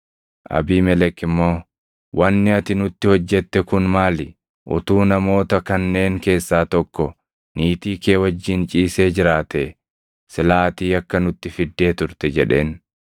Abiimelek immoo, “Wanni ati nutti hojjette kun maali? Utuu namoota kanneen keessaa tokko niitii kee wajjin ciisee jiraatee silaa ati yakka nutti fiddee turte” jedheen.